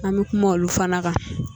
An bɛ kuma olu fana kan